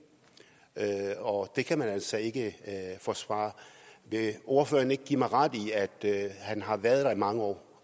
og det kan man altså ikke forsvare vil ordføreren ikke give mig ret i at han har været der i mange år